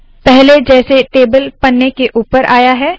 पहले जैसे टेबल पन्ने के ऊपर आया है